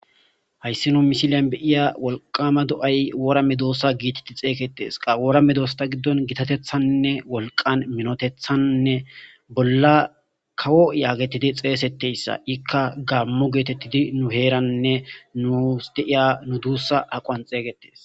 hayssi nu misiliyan beiya wolqama do7ay woora medoossa giititi xeeyketees qa woorame doosta giddon gitatethannne wolqan minotethannne bolla kawo yaagetidi xeesetteyssa ikka gammu geetettidi nu heeranne nuus deiya nu duussa haqoan xeeygetes